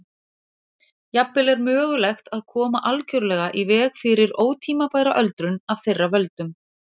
Jafnvel er mögulegt að koma algjörlega í veg fyrir ótímabæra öldrun af þeirra völdum.